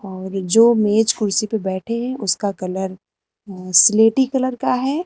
औरि जो मेज कुर्सी पे बैठे हैं उसका कलर स्लेटी कलर का है।